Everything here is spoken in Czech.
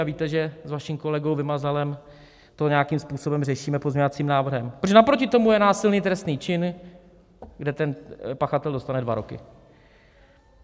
A víte, že s vaším kolegou Vymazalem to nějakým způsobem řešíme pozměňovacím návrhem, protože naproti tomu je násilný trestný čin, kde ten pachatel dostane dva roky.